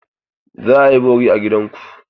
Za a yi bori a gida ku?